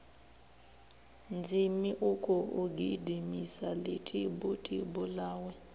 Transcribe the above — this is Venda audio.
zhimmm ukhou gidimisa ḽitibutibu ḽawe